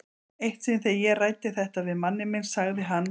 Eitt sinn þegar ég ræddi þetta við manninn minn sagði hann